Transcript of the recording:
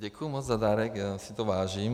Děkuji moc za dárek, já si toho vážím.